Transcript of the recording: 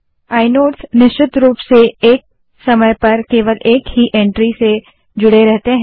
inode निश्चित रूप से एक समय पर केवल एक ही एंट्री से जुड़े रहते हैं